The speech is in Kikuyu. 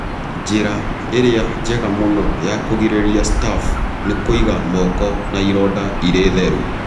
Njĩra ĩrĩa njega mũno ya kũrigĩrĩria staph nĩ kũiga moko na ironda irĩ theru.